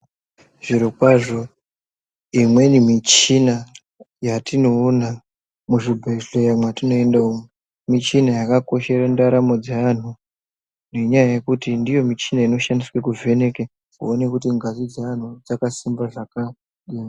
Zviro kwazvo imweni michina yetinoona muzvibhedhleya mwetino enda umwu, muchina yaka koshera ndaramo dzeanhu nenyaya yekuti ndiyo michina ino shandiswa kuvheneke kuona kuti ngazi dzaanhu dzaka simba zvakadini.